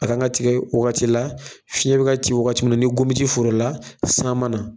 A kan ka tigɛ wagati la, fiɲɛ bɛ ka ci wagati min na, ni gomi tɛ foro la, san